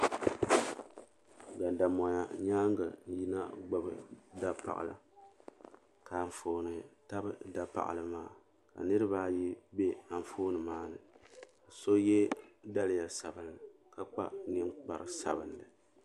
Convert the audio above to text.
Gandammoya nyaanga n yina gbibi dapaɣa ka anfooni tabi dapaɣali maa ka niriba ayi be anfooni maa ni so ye daliya sabinli ka kpa ninkpari sabinli.